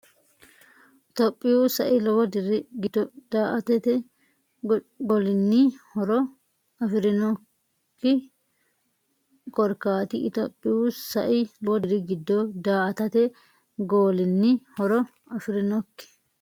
Itophiyu sai lowo diri giddo daa”atate golinni horo afi’rinokki kor- kaati Itophiyu sai lowo diri giddo daa”atate golinni horo afi’rinokki.